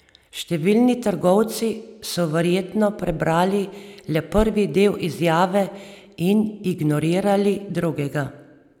Številni trgovci so verjetno prebrali le prvi del izjave in ignorirali drugega.